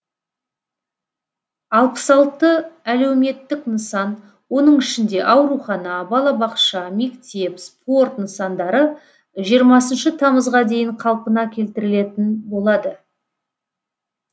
алпыс алты әлеуметтік нысан оның ішінде аурухана балабақша мектеп спорт нысандары жиырмасыншы тамызға дейін қалпына келтірілетін болады